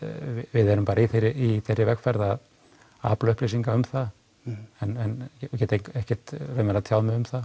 við erum bara í þeirri í þeirri vegferð að afla upplýsinga um það en ég get ekkert tjáð mig um það